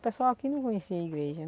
O pessoal aqui não conhecia a igreja.